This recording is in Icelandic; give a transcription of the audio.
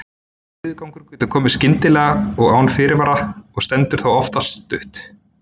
Niðurgangur getur komið skyndilega og án fyrirvara og stendur þá oftast stutt.